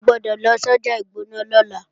O gbọ́dọ̀ lọ sọ́jà Ìgbọ̀nà lọ́la!